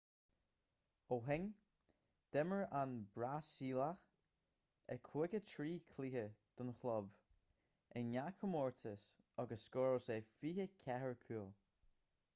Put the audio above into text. ó shin d'imir an brasaíleach i 53 cluiche don chlub i ngach comórtas agus scóráil sé 24 cúl